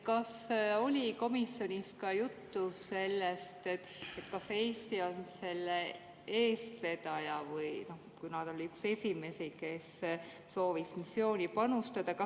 Kas oli komisjonis juttu sellest, et Eesti on selle eestvedaja, kuna ta oli üks esimesi, kes soovis missiooni panustada?